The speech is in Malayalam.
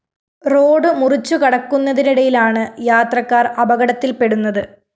റോഡ്‌ മുറിച്ചുകടക്കുന്നതിനിടയിലാണ് യാത്രക്കാര്‍ അപകടത്തില്‍പ്പെടുന്നത്